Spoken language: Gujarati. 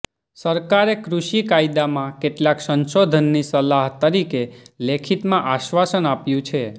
સરકારે કૃષિ કાયદામાં કેટલાક સંશોધનની સલાહ તરીકે લેખિતમાં આશ્વાસન આપ્યું છે